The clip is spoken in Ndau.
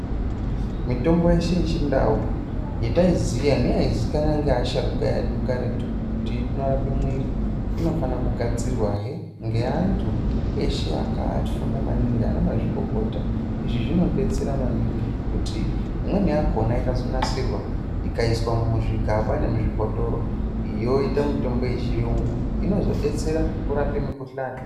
Mitombo yeshe yechindau yataiziya neyaizikanwa nevasharukwa vekaratu kuti inorapa muiri inofana kugadzirwahe ngeantu eshe akafunda maningi ana mazvikokota zvinodetsera maningi kuti imweni yakona yakazogadzirwa ikaiswa muzvigaba nemuzvibhotoro yoita mutombo yechiyungu izonodetsera kurapa mukhuhlani.